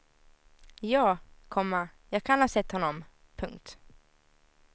Ja, komma jag kan ha sett honom. punkt